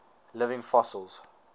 living fossils